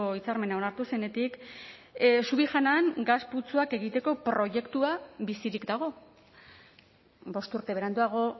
hitzarmena onartu zenetik subijanan gas putzuak egiteko proiektua bizirik dago bost urte beranduago